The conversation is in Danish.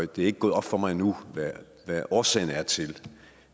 det er ikke gået op for mig endnu hvad årsagen er til